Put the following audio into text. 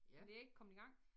Men jeg er ikke kommet i gang